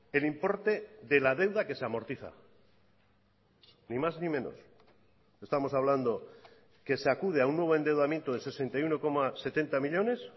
el importe de la deuda que se amortiza ni más ni menos estamos hablando que se acude a un nuevo endeudamiento de sesenta y uno coma setenta millónes